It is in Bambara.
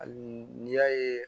Hali n'i y'a ye